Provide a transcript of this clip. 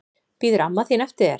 Bíður amma þín eftir þér?